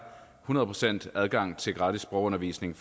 hundrede procent adgang til gratis sprogundervisning